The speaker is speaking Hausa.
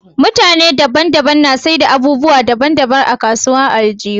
Mutane daban daban na saida abubuwa daban daban a kasuwar aljihu